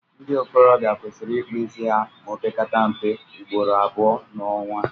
ndị ikorobia kwesịrị ịkpụ isi ha ma ọ pekata mpe ugboro abụọ n'ọnwa